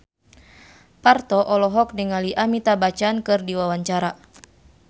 Parto olohok ningali Amitabh Bachchan keur diwawancara